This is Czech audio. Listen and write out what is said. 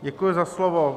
Děkuji za slovo.